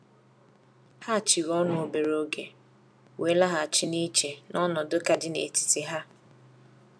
Ha chịrị ọnụ obere oge, wee laghachi na iche n’ọnọdụ ka dị n’etiti ha.